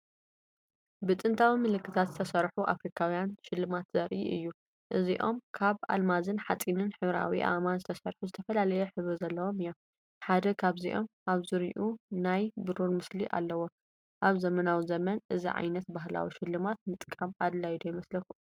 ብጥንታዊ ምልክታት ዝተሰርሑ ኣፍሪካውያን ሽልማት ዘርኢ እዩ። እዚኦም ካብ ኣልማዝን ሓጺንን ሕብራዊ ኣእማንን ዝተሰርሑ ዝተፈላለየ ሕብሪ ዘለዎም እዮም። ሓደ ካብዚኦም ኣብ ዙርያኡ ናይ ብሩር ምስሊ ኣለዎ። ኣብ ዘመናዊ ዘመን እዚ ዓይነት ባህላዊ ሽልማት ምጥቃም ኣድላይዶ ይመስለኩም? .